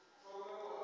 ha u rea khovhe u